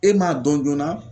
E m'a dɔn joona